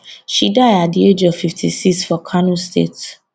she die at di age of 56 for kano state